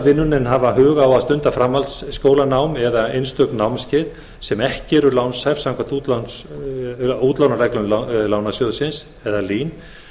vinnuna en hafa hug á að stunda framhaldsskólanám eða einstök námskeið sem ekki eru lánshæf samkvæmt útlánareglum lín